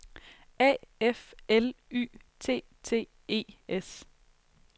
A F L Y T T E S